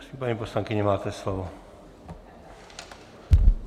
Prosím, paní poslankyně, máte slovo.